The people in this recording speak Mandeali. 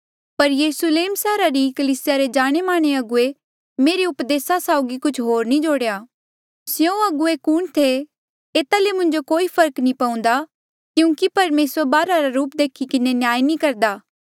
पर यरुस्लेम सैहरा री कलीसिया रे जाणेमाने अगुवे मेरे उपदेसा साउगी कुछ होर नी जोड़ेया स्यों अगुवे कुण थे एता ले मुंजो कोई फर्क नी पऊन्दा क्यूंकि परमेसर बाहरा रा रूप देखी किन्हें न्याय नी करदा